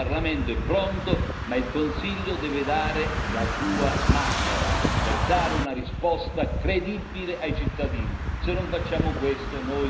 Come spesso succede, il Parlamento è pronto, ma il Consiglio deve dare la sua mano per dare una risposta credibile ai cittadini.